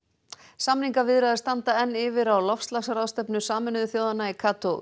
samningaviðræður standa enn yfir á loftslagsráðstefnu Sameinuðu þjóðanna í